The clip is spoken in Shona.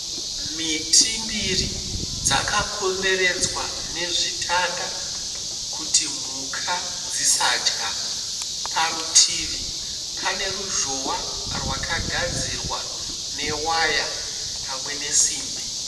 Miti mbiri dzakakomberedzwa nezvitanda kuti mhuka dzisadya. Parutivi pane ruzhowa rwakagadzirwa newaya pamwe nesimbi.